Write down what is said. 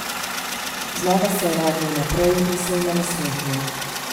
Znova se je nagnil naprej in se jima nasmehnil.